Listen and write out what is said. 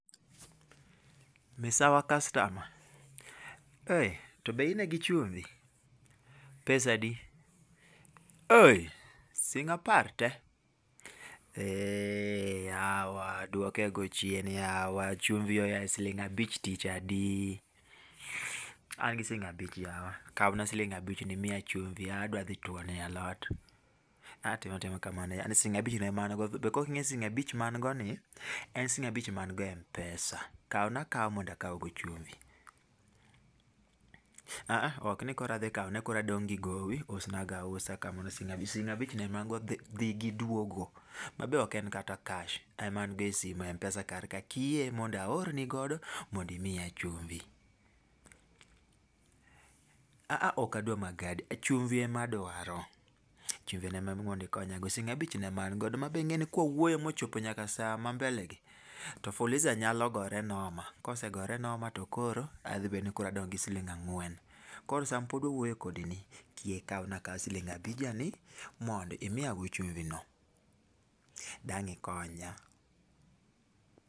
Misawa customer. Eh. To be ine gichumbi? Pesa adi? Eh, siling' apar te! Eeeh yawa, duokego chien yawa. Chumbi oa e siling' abich tich adi? An gi siling' abich yawa, kawna siling' abich ni imiya chumbi adwa dhi tuono e alot. Ani tim atima kamano yawa, siling' abichno ema an go be koking'e ni siling' abich ma an go ni en siling' abich ma an go e m-pesa. Kawna akawa mondo akawgo chumbi. Aa, ok nikoro adhikawo nikor adong' gi gowi. Usnago ausa kamano sing' abichno ema an go dhi gi duogo. Ma be ok en kata cash ema an go e simu e m-pesa kar ka. Kiyie mondo aorni godo imiya chumbi. A a ok adwar magadi. Chumbi ema adwaro. Chumbino ema mondo ikonyago. Siling' abichno ema an godo ma be ing'e ni kawawuoyo mochopo nyaka saa mambelegi, to fuliza nyalo gore noma. Kosegore noma to koro adong' gi siling' ang'wen. Koro sama pod wawuoye kodini, kiyie ikawna akawa siling' abija ni mondo imiyago chumbi no. Dang' ikonya.